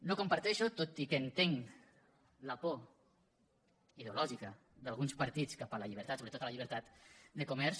no comparteixo tot i que entenc la por ideològica d’alguns partits cap a la llibertat sobretot a la llibertat de comerç